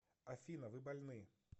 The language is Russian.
афина вы больны